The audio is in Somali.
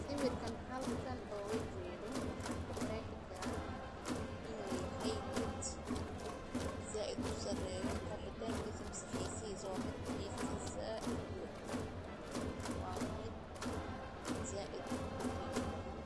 Sawirkan halkan ku qexii karaa, waa mid zaid u qimo badan.